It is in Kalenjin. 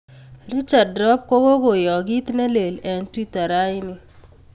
richard rop kog'okoyaak kiit nelel eng' twita raini